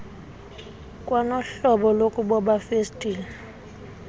kwanohlobo lokuboba festile